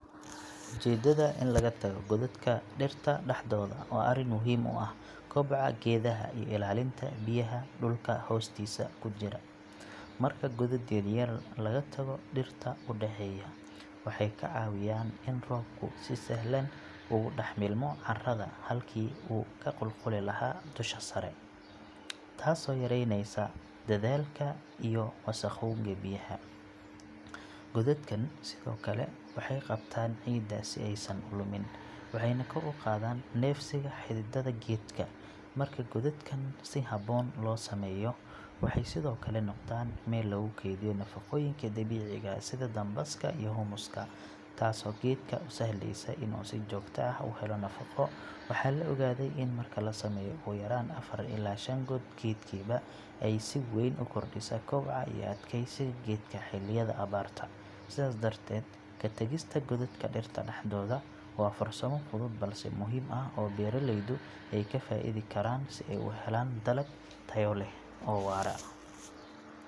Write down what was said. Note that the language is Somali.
Ujeeddada in laga tago godadka dhirta dhaxdooda waa arrin muhiim u ah koboca geedaha iyo ilaalinta biyaha dhulka hoostiisa ku jira. Marka godad yar yar laga tago dhirta u dhexeeya, waxay ka caawiyaan in roobku si sahlan ugu dhex milmo carrada halkii uu ka qulquli lahaa dusha sare, taasoo yareyneysa daadadka iyo wasakhowga biyaha. Godadkan sidoo kale waxay qabtaan ciidda si aysan u lumin, waxayna kor u qaadaan neefsiga xididada geedka. Marka godadkan si habboon loo sameeyo, waxay sidoo kale noqdaan meel lagu kaydiyo nafaqooyinka dabiiciga ah sida dambaska iyo humus-ka, taasoo geedka u sahlaysa in uu si joogto ah u helo nafaqo. Waxaa la ogaaday in marka la sameeyo ugu yaraan afar illaa shan god geedkiiba, ay si weyn u kordhiso koboca iyo adkeysiga geedka xilliyada abaarta. Sidaas darteed, ka tagista godadka dhirta dhaxdooda waa farsamo fudud balse muhiim ah oo beeraleydu ay ka faa’iidi karaan si ay u helaan dalag tayo leh oo waara.